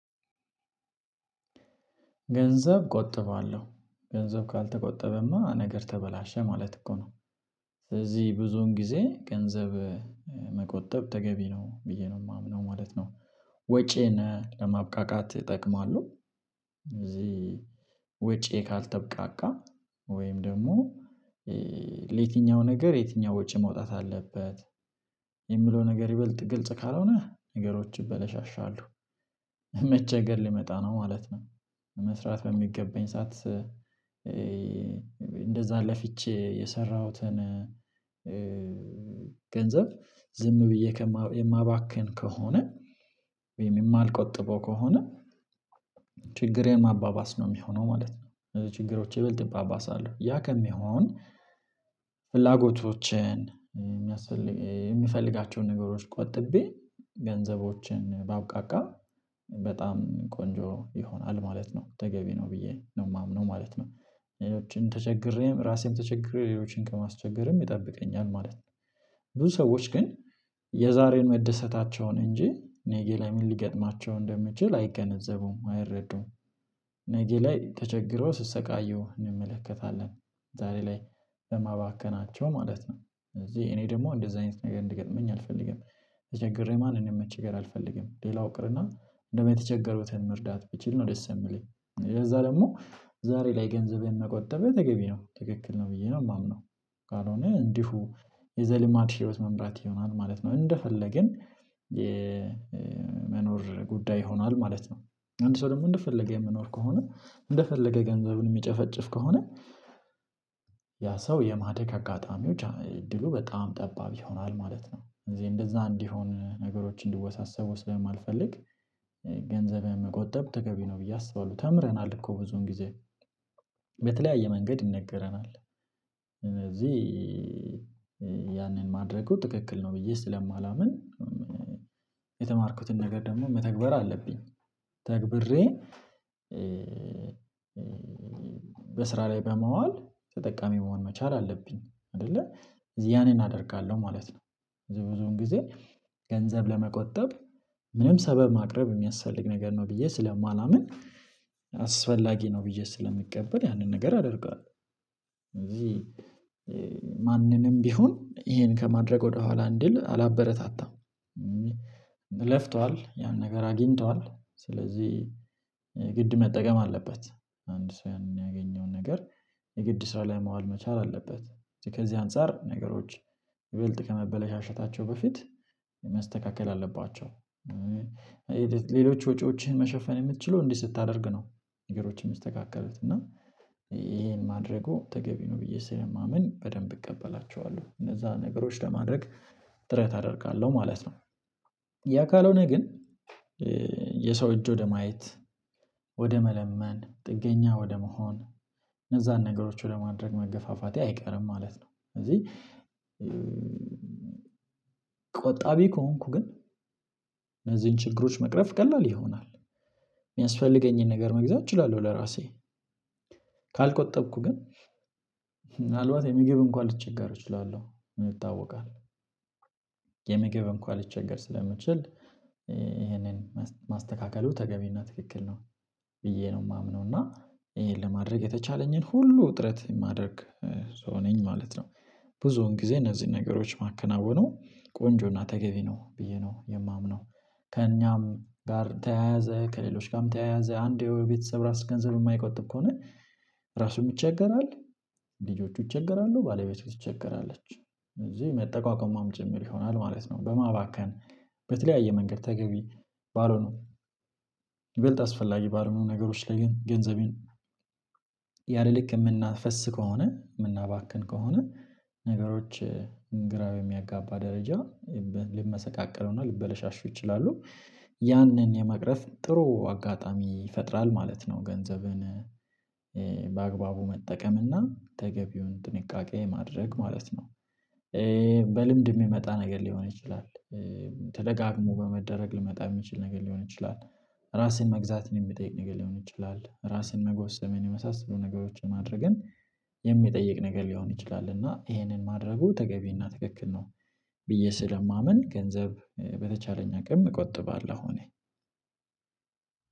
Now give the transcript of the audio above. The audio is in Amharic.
ገንዘብ እቆጥባለሁ ገንዘብ ካልተቆጠበማ ነገር ተበላሸ ማለት እኮ ነው ስለዚህ ብዙን ጊዜ ገንዘብ መቆጠብ ተገቢ ነው ብዬ ነው የማምነው ማለት ነው። ወጪን ለማብቃቃት እጠቅማለሁ እዚህ ወጪ ካልተብቃቃ ወይም ደግሞ ለየትኛው ነገር የትኛው ውጪ መውጣት አለበት የሚለው ነገር ይበልጥ ግልጽ ካልሆነ ነገሮች ይበለሻሻሉ መቸገር ሊመጣ ነው ማለት ነው መስራት በሚገባኝ ሰዓት እንደዛ ለፍቼ የሰራሁትን ገንዘብ ዝም ብዬ የማባክን ከሆነ ወይም የማልቆጥበው ከሆነ ችግሬን ማባባስ ነው የሚሆነው ማለት ነው ችግሮች ይበልጥ ይባባሳሉ ያ ከሚሆን ፍላጎቶችን የምፈልጋቸውን ነገሮች ቆጥቤ ገንዘቦችን ባብቃቃ በጣም ቆንጆ ይሆናል ማለት ነው ተገቢ ነው ብዬ ነው የማምነው ማለት ነው ሌሎችን ተቸግሬም ራሴን ተቸግሬ ሌሎችን ከማስቸገርም ይጠብቀኛል ማለት ነው ብዙ ሰዎች ግን የዛሬን መደሰታቸውን እንጂ ነገ ላይ ምን ሊገጥማቸው እንደሚችል አይገነዘቡም አይረዱም ነገ ላይ ተቸግረው ሲሰቃዩ እንመለከታለን ዛሬ ላይ በማባከናቸው ማለት ነው እዚህ እኔ ደግሞ እንደዚህ አይነት ነገር እንዲገጥመኝ አልፈልግም። ተቸግሬ ማንም ማስገር አልፈልግም ሌላው ይቅርና እንዴውም የተቸገሩትን መርዳት ብችል ነው ደስ የሚለኝ ለዛ ደግሞ ዛሬ ላይ ገንዘብን መቆጠቤ ተገቢ ነው ትክክል ነው ብዬ ነው የማምነው ካልሆነ እንዲሁ የዘልማድ ህይወት መምራት ይሆናል ማለት ነው እንደፈለግን የመኖር ጉዳይ ሆኗል ማለት ነው አንድ ሰው ደግሞ እንደፈለገ የሚኖር ከሆነ እንደፈለገ ገንዘቡን የሚጨፈጭፍ ከሆነ ያ ሰው የማደግ አጋጣሚዎች እድሉ በጣም ጠባብ ይሆናል ማለት ነው እንደዛ እንዲሆን ነገሮችን እንዲወሳሰቡ ስለማልፈልግ ገንዘብን መቆጠብ ተገቢ ነው ብዬ አስባለሁ ተምረናል እኮ ብዙን ጊዜ በተለያየ መንገድ ይነገረናል ስለዚህ ያንን ማድረጉ ትክክል ነው ብዬ ስለማናምን የተማርኩትን ነገር ደግሞ መተግበር አለብኝ ተግብሬ በስራ ላይ በማዋል ተጠቃሚ መሆን መቻል አለብኝ አይደለ ስለዚህ ያኔን አደርጋለሁ ማለት ነው ብዙ ብዙውን ጊዜ ገንዘብ ለመቆጠብ ምንም ሰበብ ማቅረብ የሚያስፈልግ ነገር ነው ብዬ ስለማላምን አስፈላጊ ነው ብዬ ስለምቀበል ያንን ነገር አደርገዋለሁ ስለዚህ ቢሆን ይሄን ከማድረግ ወደኋላ እንድል አላበረታታም ለፍቷል ያን ነገር አግኝቷል ስለዚህ ግድ መጠቀም አለበት አንድ ሰው ያንን ያገኘውን ነገር የግድ ስራ ላይ መዋል መቻል አለበት ከዚህ አንፃር ነገሮች ይበልጥ ከመበለሻሸታቸው በፊት መስተካከል አለባቸው ሌሎች ወጪዎችን መሸፈን የምትችለው እንዲህ ስታደርግ ነው ነገሮችን የሚስተካከሉት እና ይሄን ማድረጉ ተገቢ ነው ብዬ ስለማምን በደንብ እቀበላችኋለሁ እነዛ ነገሮችን ለማድረግ ጥረት አደርጋለሁ ማለት ነው። ያ ካልሆነ ግን የሰው እጅ ወደ ማየት ወደ መለመን ጥገኛ ወደ መሆን እነዛን ነገሮች ለማድረግ መገፋፋቴ አይቀርም ማለት ነው ስለዚህ ከሆንኩ ግን እነዚህን ችግሮች መቅረፍ ቀላል ይሆናል የሚያስፈልገኝን ነገር መግዛት እችላለሁ ለራሴ ካልቆጠብኩ ግን ምናልባት የምግብ እንኳን ልቸገር እችላለሁ ይታወቃል የምግብ እንኳን ልቸገር ስለምችል ይህንን ማስተካከሉ ተገቢና ትክክል ነው ብዬ ነው የማምነው እና ይሄን ለማድረግ የተቻለኝን ሁሉ እጥረት የማድረግ ሰው ነኝ ማለት ነው ብዙውን ጊዜ እነዚህን ነገሮች ማከናውነው ቆንጆና ተገቢ ነው ብዬ ነው የማምነው ከእኛም ጋር ተያያዘ ከሌሎች ጋርም ተያያዘ የቤተሰብ ራስ ገንዘብ የማይቆጥብ ከሆነ ራሱ ይቸገራል፣ ልጆቹ ይቸገራሉ፣ ባለቤቶቹ ትቸገራለች እዚህ መጠቋቆሚም ጭምር ይሆናል ማለት ነው በማባከን በተለያየ መንገድ ተገቢ ባልሆኑ ይበልጥ አስፈላጊ ባልሆኑ ነገሮች ላይ ግን ገንዘቤን ያለ ልክ የምናፈስ ከሆነ የምናባክን ከሆነ ነገሮች ግራ በሚያጋባ ደረጃ ሊመሰቃቀሉና ልበለሻሹ ይችላሉ ያንን የመቅረፍ ጥሩ አጋጣሚ ይፈጥራል ማለት ነው ገንዘብን በአግባቡ መጠቀምና ተገቢውን ጥንቃቄ ማድረግ ማለት ነው። በልምድ የሚመጣ ነገር ሊሆን ይችላል፣ ተደጋግሞ በመደረግ ሊመጣ የምችል ነገር ሊሆን ይችላል ራስን መግዛትን የሚጠይቅ ነገር ሊሆን ይችላል፣ ራስን መጎሰምን የመሳሰሉ ነገሮችን ማድረግን የሚጠይቅ ነገር ሊሆን ይችላል እና ይሄንን ማድረጉ ተገቢ እና ትክክል ነው ብዬ ስለማምን ገንዘብ በተቻለኝ አቅም እቆጥባለሁ እኔ።